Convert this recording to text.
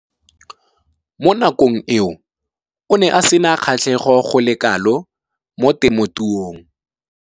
Mo nakong eo o ne a sena kgatlhego go le kalo mo temothuong.